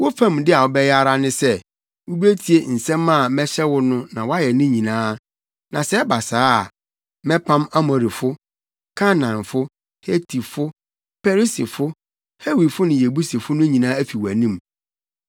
Wo fam de a wobɛyɛ ara ne sɛ, wubetie nsɛm a mɛhyɛ wo no na woayɛ ne nyinaa; na sɛ ɛba saa a, mɛpam Amorifo, Kanaanfo, Hetifo, Perisifo, Hewifo ne Yebusifo no nyinaa afi wʼanim.